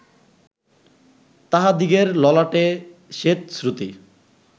তাহাদিগের ললাটে স্বেদস্রুতি